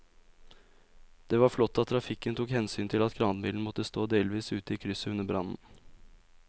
Det var flott at trafikken tok hensyn til at kranbilen måtte stå delvis ute i krysset under brannen.